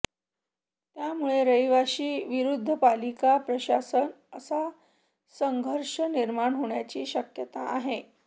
त्यामुळे रहिवाशी विरुद्ध पालिका प्रशासन असा संघर्ष निर्माण होण्याची शक्यता आहे